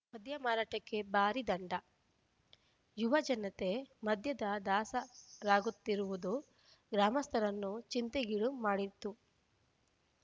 ಮದ್ಯ ಮಾರಾಟಕ್ಕೆ ಭಾರೀ ದಂಡ ಯುವ ಜನತೆ ಮದ್ಯದ ದಾಸರಾಗುತ್ತಿರುವುದು ಗ್ರಾಮಸ್ಥರನ್ನು ಚಿಂತೆಗೀಡು ಮಾಡಿತ್ತು